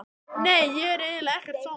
Nei, ég er eiginlega ekkert svangur.